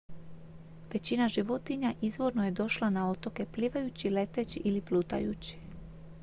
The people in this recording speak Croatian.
većina životinja izvorno je došla na otoke plivajući leteći ili plutajući